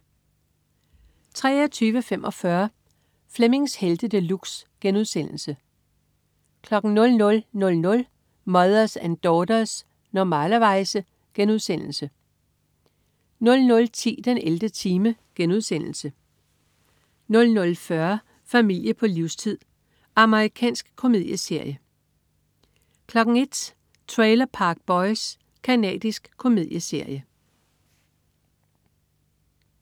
23.45 Flemmings Helte De Luxe* 00.00 Mothers and Daughters. Normalerweize* 00.10 den 11. time* 00.40 Familie på livstid. Amerikansk komedieserie 01.00 Trailer Park Boys. Canadisk komedieserie